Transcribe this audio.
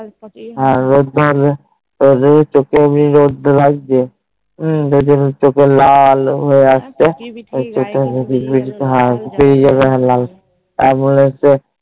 রোধ ধরবে ওদের চোহে এমনি রোধ তা লাগছে মম চোখে লাল হয়ে আসছে আমি কি বলি জানিনা হ্যান সেই জন্যে লাল অন্যের তো